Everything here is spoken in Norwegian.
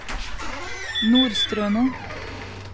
Nordstrøno